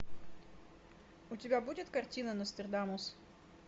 у тебя будет картина нострадамус